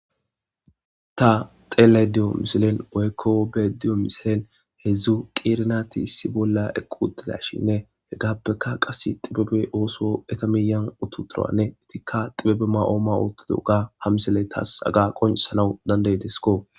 Ta xeelay diyo misilen woykko be'ayda diyo misilen heedzdzu qerir nati issi bolla eqqi utidashinne he gaappeka qass xibebe ooso eta miyan utu turanne etikka xibebe ma'ooma ootto duuga ha misele taas aga qoncisanaw danda'idesikko